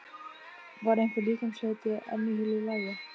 Var einhver líkamshluti enn í heilu lagi?